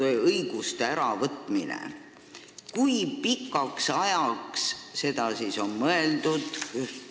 Kui pikaks ajaks on mitme loetletud õiguse äravõtmist mõeldud?